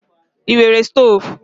I nwere stọv?